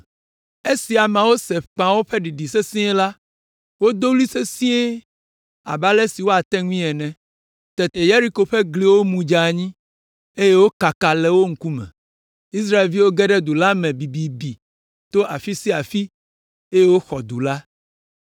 Esi ameawo se kpẽawo ƒe ɖiɖi sesĩe la, wodo ɣli sesĩe abe ale si woate ŋui ene. Tete Yeriko ƒe gliwo mu dze anyi, eye wokaka le wo ŋkume. Israelviwo ge ɖe du la me bibibi to afi sia afi, eye woxɔ du la.